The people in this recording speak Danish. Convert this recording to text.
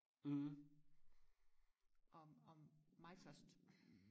og og mig først